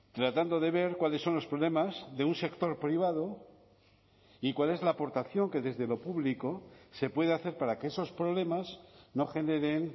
tratando de ver cuáles son los problemas de un sector privado y cuál es la aportación que desde lo público se puede hacer para que esos problemas no generen